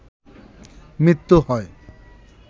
মৃত্যু হয়